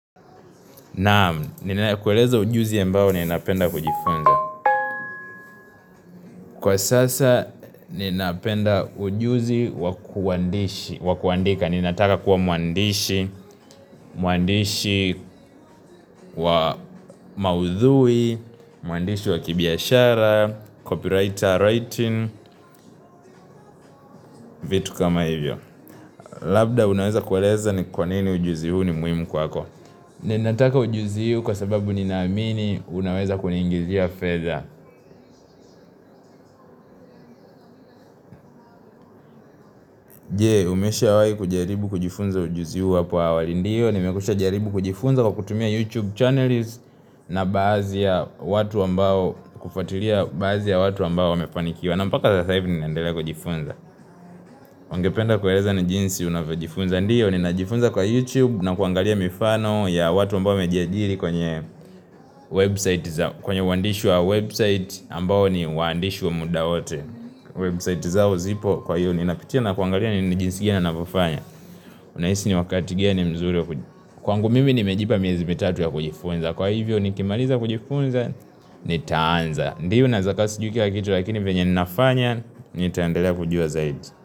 Naam, ninakueleza ujuzi ambao ninapenda kujifunza Kwa sasa, ninapenda ujuzi wakuandika Ninataka kuwa muandishi, muandishi wa maudhui Mwandishi wa kibiashara, copywriter writing, vitu kama hivyo Labda, unaweza kueleza ni kwa nini ujuzi huu ni muhimu kwako Ninataka ujuzi huu kwa sababu ninaamini unaweza kuningizia fedha Je, umeshawai kujaribu kujifunza ujuzi huu hapo awali ndiyo Nimekwisha jaribu kujifunza kwa kutumia YouTube channels na baadhi ya watu ambao kufatilia Baadhi ya watu ambao wamefanikiwa na mpaka sasa hivi ni nandele kujifunza Uangependa kueleza ni jinsi unavyojifunza ndio Ninajifunza kwa YouTube na kuangalia mifano ya watu ambao wamejiajiri kwenye website zao kwenye uandishi wa website ambao ni waandishi wa muda wote Website zao zipo kwa hiyo Ninapitia na kuangalia ni ni jinsi gani anayofanya Unahisi ni wakati gani mzuri Kwangu mimi ni mejipa miezi mitatu ya kujifunza Kwa hivyo ni kimaliza kujifunza ni taanza Ndio nawekua sijui kila kitu lakini venye ninafanya Nitaendelea kujua zaidi.